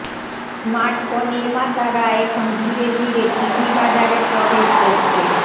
smartphone নির্মাতারা এখন ধীরে ধীরে টিভি বাজারে প্রবেশ করছে